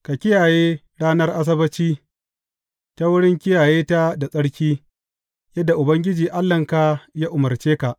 Ka kiyaye ranar Asabbaci ta wurin kiyaye ta da tsarki, yadda Ubangiji Allahnka ya umarce ka.